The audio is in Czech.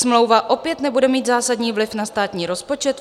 Smlouva opět nebude mít zásadní vliv na státní rozpočet.